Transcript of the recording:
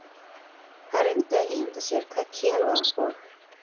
Hann reyndi að ímynda sér hvað Kela og